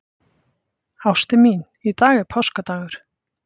Ástin mín, í dag er páskadagur.